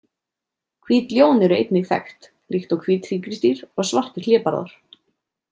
Hvít ljón eru einnig þekkt, líkt og hvít tígrisdýr og svartir hlébarðar.